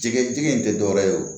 Jɛgɛ jɛgɛ in tɛ dɔwɛrɛ ye o